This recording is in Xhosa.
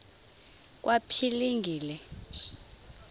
kwaphilingile